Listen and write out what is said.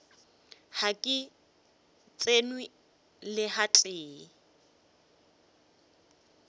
ga ke tsenwe le gatee